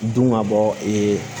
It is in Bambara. Dun ka bɔ